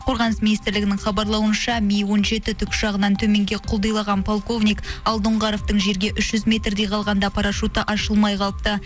қорғаныс министрлігінің хабарлауынша ми он жеті тікұшағынан төменге құлдилаған полковник алдоңғаровтың жерге үш жүз метрдей қалғанда парашюті ашылмай қалыпты